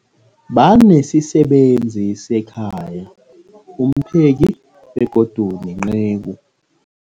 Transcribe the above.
Banesisebenzi sekhaya, umpheki, begodu nenceku.